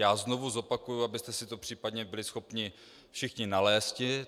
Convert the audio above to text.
Já znovu zopakuji, abyste si to případně byli schopni všichni nalézt.